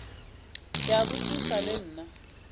ke a botšiša le nna